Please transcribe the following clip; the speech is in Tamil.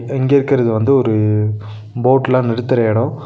இந்த இங்க இருக்கறது வந்து ஒரு போட்லா நிறுத்துற எடோ.